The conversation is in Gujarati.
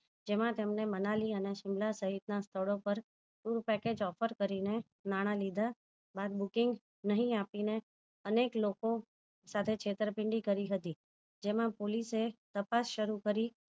જેમાં તેમને મનાલી અને શિમલા સહીત ના સ્થળો પર પૂરું package offer કરીને નાણા લીધા બાદ booking નહી આપીનેઅનેક લોકો છેતર પીન્ડી કરી હતી જેમાં police એ તપાસ શરુ કરી